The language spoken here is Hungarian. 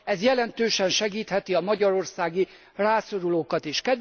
Ez jelentősen segítheti a magyarországi rászorulókat is.